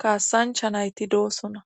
kaasancha nayti doosona